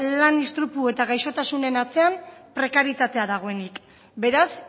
lan istripu eta gaixotasunen atzean prekaritatea dagoenik beraz